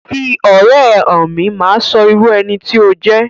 Fi ọ̀rẹ́ ẹ hàn mí, màá sọ irú ẹni tí o jẹ